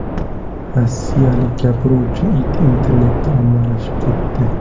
Rossiyalik gapiruvchi it internetda ommalashib ketdi .